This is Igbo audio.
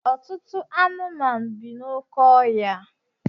Ọtụtụ anụmanụ bi n'oké ọhịa.